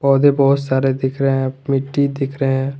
पौधे बहोत सारे दिख रहे हैं मिट्टी दिख रहे हैं।